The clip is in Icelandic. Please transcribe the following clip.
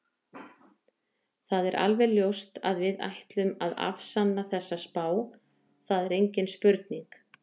Það er alveg ljóst að við ætlum að afsanna þessa spá, það er engin spurning.